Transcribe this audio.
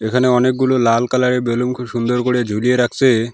এখানে অনেকগুলো লাল কালার -এর বেলুন খুব সুন্দর করে ঝুলিয়ে রাখসে।